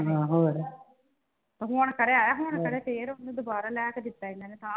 ਤੇ ਹੁਣ ਖਰੇ ਆਇਆ ਹੁਣ ਖਰੇ ਫੇਰ ਉਹਨੂੰ ਦੁਬਾਰਾ ਲਿਆ ਕੇ ਦਿੱਤਾ ਇਹਨਾਂ ਨੇ